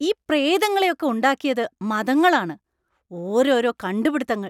ഈ പ്രേതങ്ങളെ ഒക്കെ ഉണ്ടാക്കിയത് മതങ്ങളാണ്. ഓരോരോ കണ്ടുപിടിത്തങ്ങൾ!